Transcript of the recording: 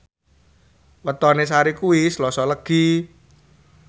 wetone Sari kuwi Selasa Legi